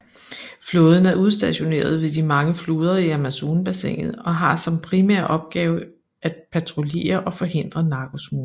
Flåden er udstationeret ved de mange floder i Amazonbassinet og har som primær opgave at patruljere og forhindre narkosmugling